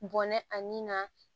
Bɔnɛ ani na